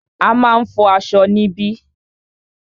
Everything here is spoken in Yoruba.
A máà ń fọ aṣọ níbí.